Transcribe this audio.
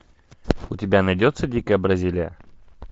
у тебя найдется дикая бразилия